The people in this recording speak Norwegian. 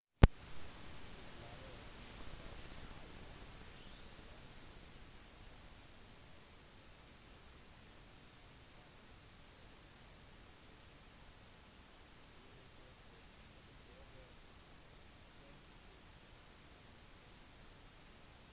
tidligere massachusetts-guvernør mitt romney vant det republikanske partiets presidentvalget på tirsdag med over 46 prosent av stemmene